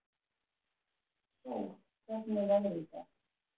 Sól, hvernig er veðrið í dag?